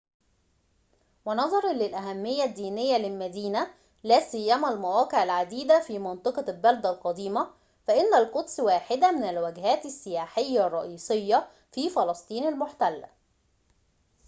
ونظراً للأهمية الدينية للمدينة لا سيما المواقع العديدة في منطقة البلدة القديمة فإن القدس واحدة من الوجهات السياحية الرئيسية في فلسطين المحتلة